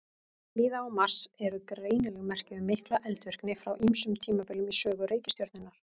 Víða á Mars eru greinileg merki um mikla eldvirkni frá ýmsum tímabilum í sögu reikistjörnunnar.